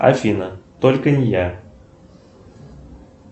афина только не я